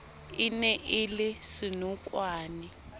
e ne e le senokwane